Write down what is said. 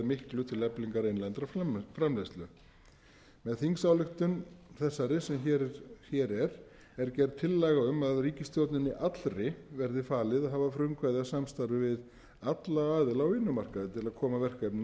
miklu til eflingar innlendrar framleiðslu með þingsályktun þessari sem hér er er gerð tillaga um að ríkisstjórninni allri verði falið að hafa frumkvæði að samstarfi við alla aðila á vinnumarkaði til að koma verkefninu á